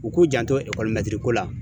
U k'u janto ekɔli la ko la